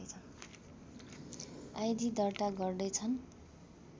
idea दर्ता गर्दै छन्